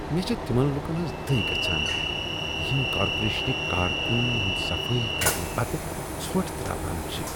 مےٚ چھےٚ تمن لوٗکن ہٕنٛز دٕے گژھان یم کارپوریشنٕکۍ کارکنن ہٕند صفایی کرنہٕ پتہٕ ژھۄٹھ ترٛاوان چھ۔